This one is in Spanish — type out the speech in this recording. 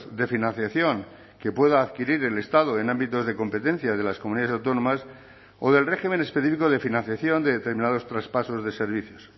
de financiación que pueda adquirir el estado en ámbitos de competencia de las comunidades autónomas o del régimen específico de financiación de determinados traspasos de servicios